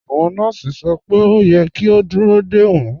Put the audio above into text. Awọn nọọsì sọ pé o yẹ̀ kí a dúró de wọn.